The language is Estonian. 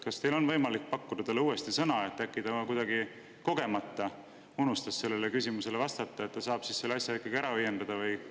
Kas teil on võimalik pakkuda talle uuesti sõna, et äkki ta kuidagi kogemata jättis sellele küsimusele vastamata ja saab selle asja ikkagi ära õiendada?